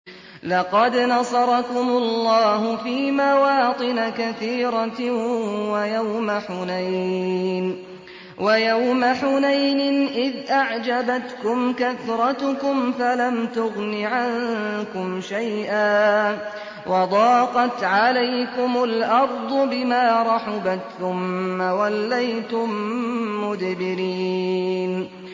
لَقَدْ نَصَرَكُمُ اللَّهُ فِي مَوَاطِنَ كَثِيرَةٍ ۙ وَيَوْمَ حُنَيْنٍ ۙ إِذْ أَعْجَبَتْكُمْ كَثْرَتُكُمْ فَلَمْ تُغْنِ عَنكُمْ شَيْئًا وَضَاقَتْ عَلَيْكُمُ الْأَرْضُ بِمَا رَحُبَتْ ثُمَّ وَلَّيْتُم مُّدْبِرِينَ